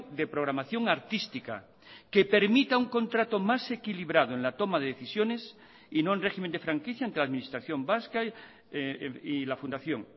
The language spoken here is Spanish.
de programación artística que permita un contrato más equilibrado en la toma de decisiones y no en régimen de franquicia entre la administración vasca y la fundación